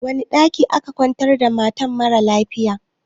Wani ɗaki aka kwantar da mara lafiyan?